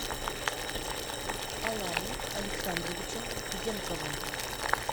аланом александровичем зенковым